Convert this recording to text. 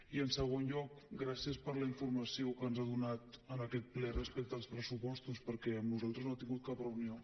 i en segon lloc gràcies per la informació que ens ha donat en aquest ple respecte als pressupostos perquè amb nosaltres no ha tingut cap reunió